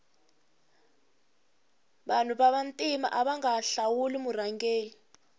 vanu va ntima avanga hlawuli murhangeri